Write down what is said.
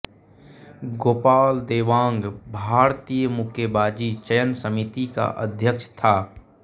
गोपाल देवांग भारतीय मुक्केबाजी चयन समिति का अध्यक्ष था